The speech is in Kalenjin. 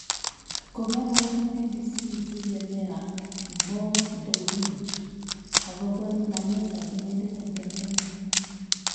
Kong'alalchi BBC billioner Mo Dewji akobo namet ab inendet eng Tansania